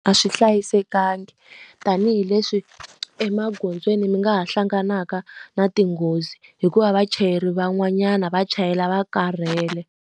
A swi hlayisekangi tanihileswi emagondzweni mi nga ha hlanganaka na tinghozi hi ku va vachayeri van'wanyana va chayela va karhele.